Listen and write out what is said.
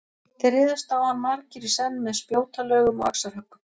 Þeir réðust á hann margir í senn með spjótalögum og axarhöggum.